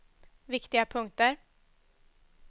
viktiga punkter